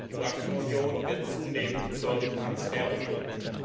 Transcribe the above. Die Bankenunion wird zunehmend zur Transferunion.